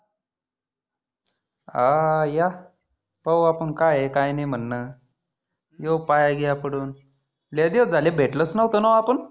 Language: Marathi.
हा या. पाहु आपण काय आहे काय नाही म्हणनं. येऊ पाया गिया पडुन. लय दिवस झाले भेटलोच नव्हतो आपण.